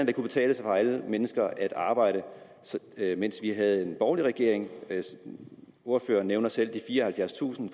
det kunne betale sig for alle mennesker at arbejde mens vi havde en borgerlig regering ordføreren nævner selv de fireoghalvfjerdstusind